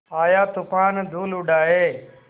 आया तूफ़ान धूल उड़ाए